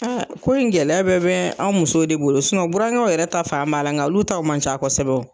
ko in gɛlɛya bɛɛ bɛ anw musow de bolo, burankɛw yɛrɛ ta fan b'a la nka olu t'aw man ca kosɛbɛ